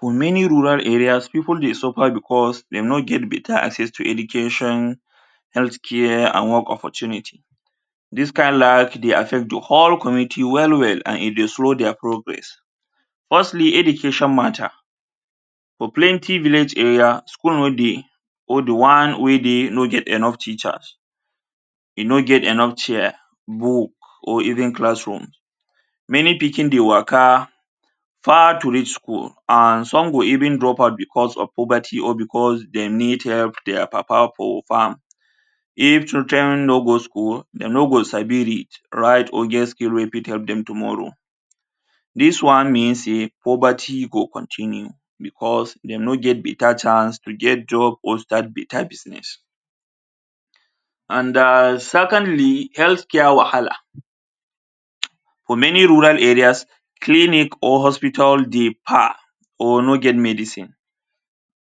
For many rural areas, pipu dey suffer because they no get better access to education, health care and work opportunity Dis kind life dey affect the whole community well well and e dey slow their progress. Firstly, education matter for plenty village area, school no dey or the one wey dey no get enough teachers, e no get enough chairs, book or even classroom. Many pikin dey waka far to reach school and some go even drop out because of poverty or because dem need help their papa for farm. If children no go school, dem no go sabi read, write or get skill wey fit help dem tomorrow. Dis one mean sey poverty go continue because they no get better chance to get job or start better business. And um secondly, health care wahala. um For many rural areas, clinic or hospital dey kpal or no get medicine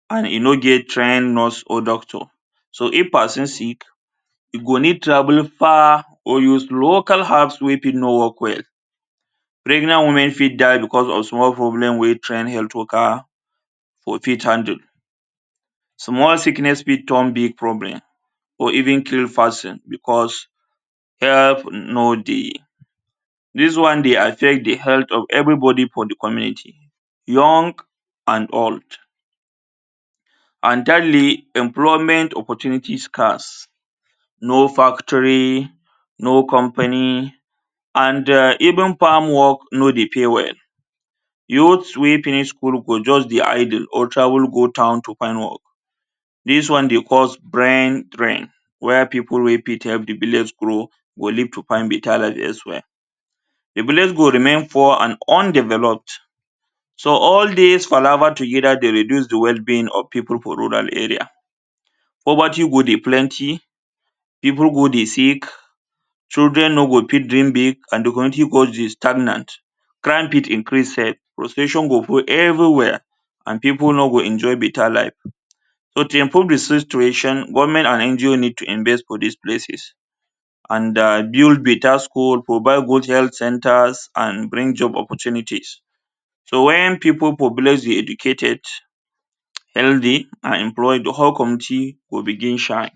and e no get trying nurse or doctor. So, if pesin sick, you go need travel far or use local herbs wey fit no work well. Pregnant women fit die because of small problem wey trying health worker for fit handle. Small sickness fit turn big problem or even kill pesin because help no dey. Dis one dey affect the health of everybody for the community, young and old. And thirdly, employment opportunity scarce. No factory, no company and de even farm work no dey pay well. Youth wey finish school go just dey idle or travel go town to find work. Dis one dey cause brain drain where pipu wey fit help the village grow, go leave to find better life elsewhere. The village go remain for undeveloped. So, all des palava together dey reduce the wellbeing of pipu for rural area. Poverty go dey plenty, pipu go dey sick, children no go fit dream big and the country go dey stagnant, crime fit increase cell, frustration go full everywhere and pipu no go enjoy better life. So, to improve the situation, government and NGO need to invest for dis places and um build better school, provide good health centres and bring job opportunities. So, when pipu for village dey educated, healthy and employed, the whole country go begin shine.